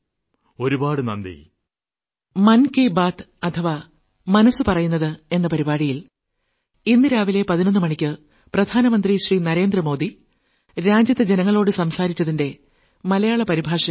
ഒരുപാട് ഒരുപാട് നന്ദി